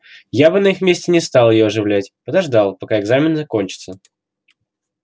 я бы на их месте не стал её оживлять подождал пока экзамены кончатся